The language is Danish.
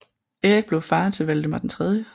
Erik blev far til Valdemar 3